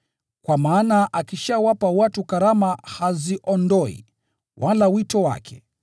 kwa maana akishawapa watu karama, Mungu haziondoi, wala wito wake.